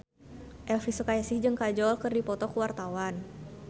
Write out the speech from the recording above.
Elvy Sukaesih jeung Kajol keur dipoto ku wartawan